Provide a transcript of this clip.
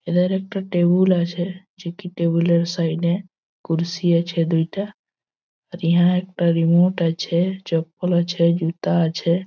একটি টেবিল আছে। টেবিল -এর সাইড -এ কলসি আছে দুটা। একটা রিমোট আছে চপ্পল আছে জুতা আছে।